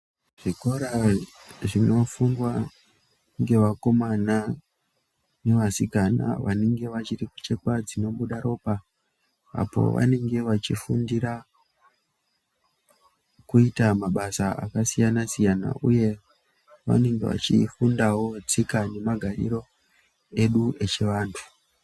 Zvikora zvinofundwa ngevakomana nevasikana vane vachiri inochekwa dzinobuda ropa apo vanenge vachifundira kuita mabasa akasiyana-siyana uye vanenge vachifundawo tsika nemagariro edu echivantu.